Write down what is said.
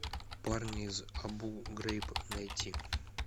парни из абу грейб найти